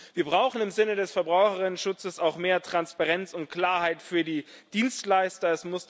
Wir brauchen im Sinne des Verbraucherinnenschutzes auch mehr Transparenz und Klarheit für die Dienstleister.